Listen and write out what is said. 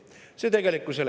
See ei vasta tegelikkusele.